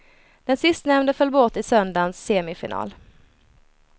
Den sistnämnde föll bort i söndagens semifinal.